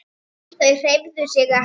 Þau hreyfðu sig ekki.